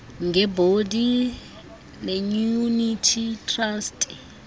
ngeebhondi neeyunithi trasti